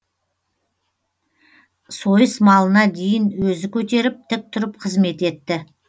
сойыс малына дейін өзі көтеріп тік тұрып қызмет етті